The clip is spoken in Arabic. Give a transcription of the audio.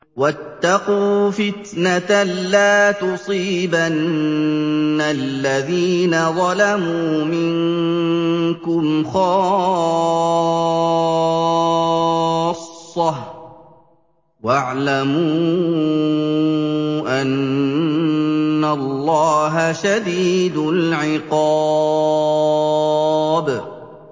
وَاتَّقُوا فِتْنَةً لَّا تُصِيبَنَّ الَّذِينَ ظَلَمُوا مِنكُمْ خَاصَّةً ۖ وَاعْلَمُوا أَنَّ اللَّهَ شَدِيدُ الْعِقَابِ